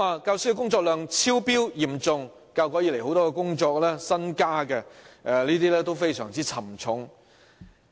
教師工作量嚴重超標，教育改革以來很多新增的工作都非常沉重。